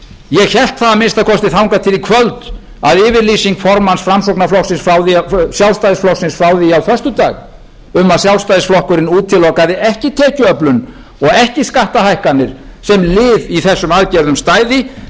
ég hélt það að minnsta kosti þangað til í kvöld að yfirlýsing formanns sjálfstæðisflokksins frá því á föstudag um að sjálfstæðisflokkurinn útilokaði ekki tekjuöflun og ekki skattahækkanir sem lið í erum aðgerðum stæði